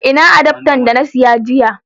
Ina karamin adafta da na siya jiya.